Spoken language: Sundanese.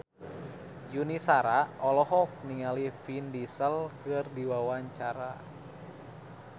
Yuni Shara olohok ningali Vin Diesel keur diwawancara